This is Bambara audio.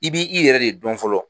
I bi i yɛrɛ de dɔn fɔlɔ